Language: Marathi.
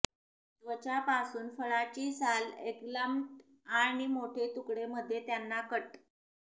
त्वचा पासून फळाची साल एग्प्लान्ट आणि मोठे तुकडे मध्ये त्यांना कट